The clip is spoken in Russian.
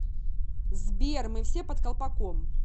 сбер мы все под колпаком